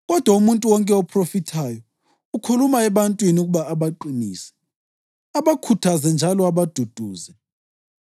Kodwa umuntu wonke ophrofithayo ukhuluma ebantwini ukuba abaqinise, abakhuthaze njalo abaduduze.